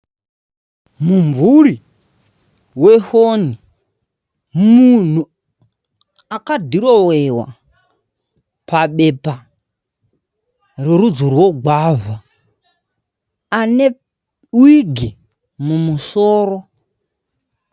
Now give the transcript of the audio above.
Mumvuri wefoni, munhu akadhirowewa pabepa rerudzi rwogwavha, ane wigi mumusoro.